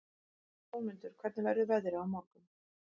Jómundur, hvernig verður veðrið á morgun?